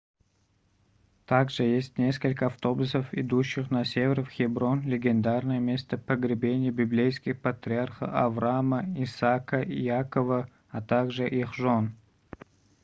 также есть несколько автобусов идущих на север в хеброн легендарное место погребения библейских патриархов авраама исаака и иакова а также их жен